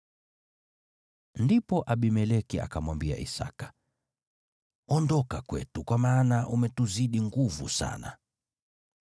Ndipo Abimeleki akamwambia Isaki, “Ondoka kwetu, kwa maana umetuzidi nguvu sana.”